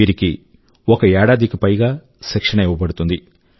వీరికి ఒక ఏడాది పైగా శిక్షణ ఇవ్వబడుతుంది